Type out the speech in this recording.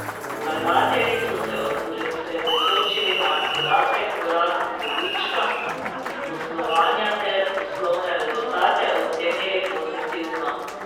Vlagatelji so se osredotočili na podatek o rasti dobička iz poslovanja ter poslovne rezultate ocenili pozitivno.